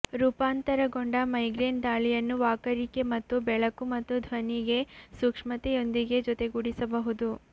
ರೂಪಾಂತರಗೊಂಡ migraine ದಾಳಿಯನ್ನು ವಾಕರಿಕೆ ಮತ್ತು ಬೆಳಕು ಮತ್ತು ಧ್ವನಿಗೆ ಸೂಕ್ಷ್ಮತೆಯೊಂದಿಗೆ ಜೊತೆಗೂಡಿಸಬಹುದು